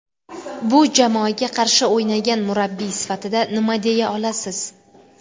Bu jamoaga qarshi o‘ynagan murabbiy sifatida nima deya olasiz?